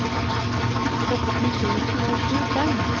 sytten tusen og tjuefem